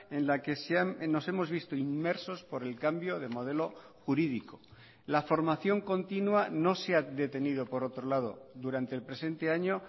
en la que nos hemos visto inmersos por el cambio de modelo jurídico la formación continua no se ha detenido por otro lado durante el presente año